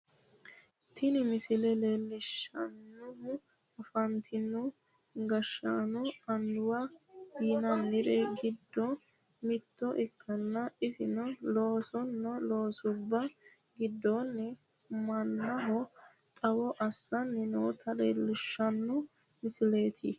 Tini misile leellishshannohu afantino gashshaanonna annuwa yinanniri giddo mitto ikkanna, isino loosino loosubba giddonni mannaho xawo assanni noota leellishshanno misileeti.